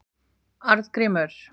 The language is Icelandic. Arngrímur